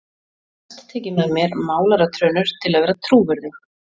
Næst tek ég með mér málaratrönur til að vera trúverðug.